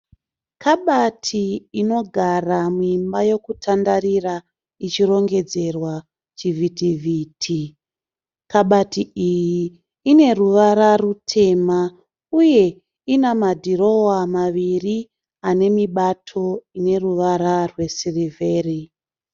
Kabati inogara muimba yokutandarira ichirongedzerwa chivhiti vhiti. Kabati iyi ine ruwara rutema uye ina madhirowa maviri ane mibato ine ruwara rwe sirivheri.